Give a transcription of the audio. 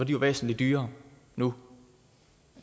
jo væsentlig dyrere nu